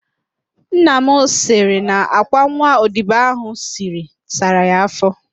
Nna m sịrị na àkwá nwa odibo ahụ siri sara ya afọ